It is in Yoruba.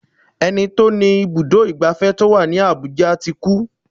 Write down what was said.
Ẹni tí ó ní ibùdó ìgbafẹ́ tó wà ní Abuja ti kú.